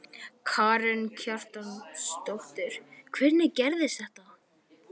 Karen Kjartansdóttir: Hvernig gerðist þetta?